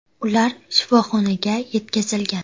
Ular shifoxonaga yetkazilgan.